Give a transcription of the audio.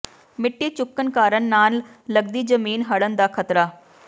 ਮਿੱਟੀ ਚੁੱਕਣ ਕਾਰਨ ਨਾਲ ਲੱਗਦੀ ਜ਼ਮੀਨ ਹੜ੍ਹਨ ਦਾ ਖਤਰਾ